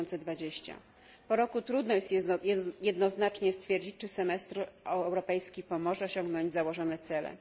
2020. Po roku trudno jest jednoznacznie stwierdzić, czy semestr europejski pomoże osiągnąć założone cele.